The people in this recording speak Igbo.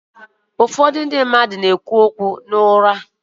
Ụfọdụ ndị mmadụ na-ekwu okwu n’ụra ha